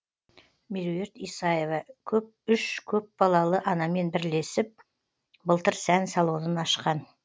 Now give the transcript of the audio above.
меруерт исаева үш көпбалалы анамен бірілесіп былтыр сән салонын ашқан